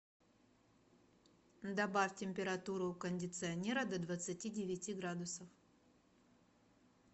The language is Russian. добавь температуру у кондиционера до двадцати девяти градусов